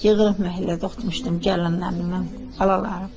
Yığılıb məhəllədə oxumuşdum gəlinlərimlə, balalarım.